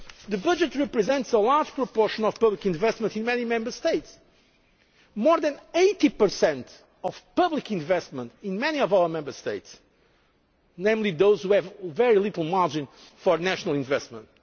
The budget represents a large proportion of public investment in many Member States more than 80 of public investment in many of our Member States, particularly those that have very little margin for national investment.